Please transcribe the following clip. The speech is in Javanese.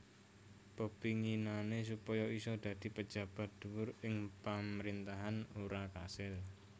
Pepinginané supaya isa dadi pejabat dhuwur ing pamrintahan ora kasil